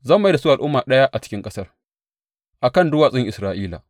Zan mai da su al’umma ɗaya a cikin ƙasar, a kan duwatsun Isra’ila.